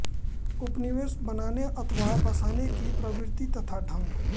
उपनिवेश बनाने अथवा बसाने की प्रवृत्ति तथा ढंग